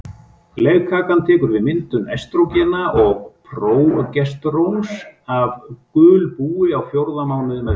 Legkakan tekur við myndun estrógena og prógesteróns af gulbúi á fjórða mánuði meðgöngu.